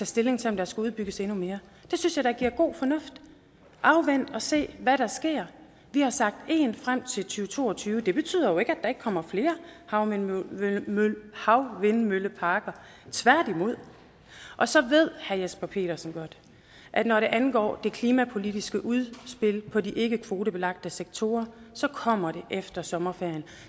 stilling til om der skal udbygges endnu mere det synes jeg da er god fornuft afvent og se hvad der sker vi har sagt en frem til to to og tyve det betyder jo ikke at der ikke kommer flere havvindmølleparker havvindmølleparker tværtimod og så ved herre jesper petersen godt at når det angår det klimapolitiske udspil på de ikkekvotebelagte sektorer kommer det efter sommerferien